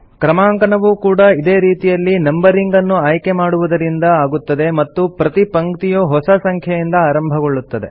ಕ್ರಮಾಂಕನವೂ ಕೂಡಾ ಇದೇ ರೀತಿಯಲ್ಲಿ ನಂಬರಿಂಗ್ ನ್ನು ಆಯ್ಕೆ ಮಾಡುವುದರಿಂದ ಆಗುತ್ತದೆ ಮತ್ತು ಪ್ರತಿ ಪಂಕ್ತಿಯೂ ಹೊಸ ಸಂಖ್ಯೆಯಿದ ಆರಂಭಗೊಳ್ಳುತ್ತದೆ